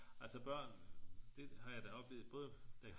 Altså børn det har jeg da oplevet både da